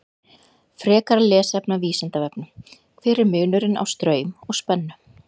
Frekara lesefni af Vísindavefnum: Hver er munurinn á straum og spennu?